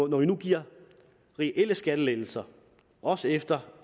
når vi nu giver reelle skattelettelser også efter